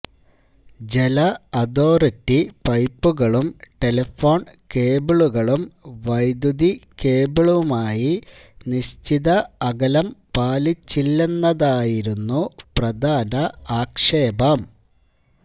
ജലഅതോറിറ്റി പൈപ്പുകളും ടെലിഫോണ് കേബിളുകളും വൈദ്യുതിക്കേബിളുമായി നിശ്ചിത അകലം പാലിച്ചില്ലെന്നതായിരുന്നു പ്രധാന ആക്ഷേപം